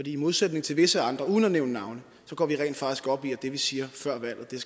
i modsætning til visse andre uden at nævne navne går vi rent faktisk op i at det vi siger før valget